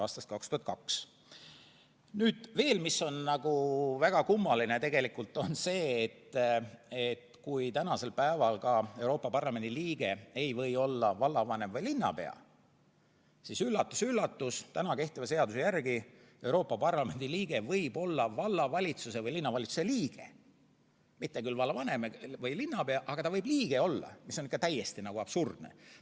Mis on tegelikult väga kummaline, on see, et kui täna ei või Euroopa Parlamendi liige olla vallavanem või linnapea, siis üllatus-üllatus, täna kehtiva seaduse järgi võib Euroopa Parlamendi liige olla vallavalitsuse või linnavalitsuse liige, mitte küll vallavanem või linnapea, aga ta võib olla liige, mis on ikka täiesti absurdne.